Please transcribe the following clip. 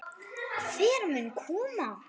Hver mun koma?